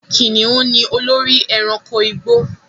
Kìnnìún ni olórí ẹranko igbó